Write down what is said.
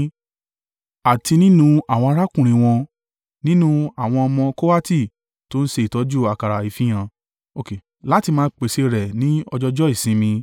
Àti nínú àwọn arákùnrin wọn, nínú àwọn ọmọ Kohati tó ń ṣe ìtọ́jú àkàrà ìfihàn, láti máa pèsè rẹ̀ ní ọjọọjọ́ ìsinmi.